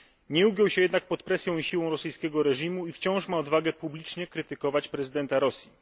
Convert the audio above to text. Nie ugiął się jednak pod presją i siłą rosyjskiego reżimu i wciąż ma odwagę publicznie krytykować prezydenta Rosji.